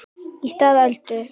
Í stað Öldu